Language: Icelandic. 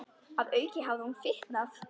Að auki hafði hún fitnað.